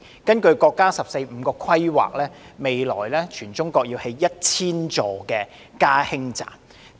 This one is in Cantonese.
根據國家"十四五"規劃，未來全國會興建1000座"加氫站"。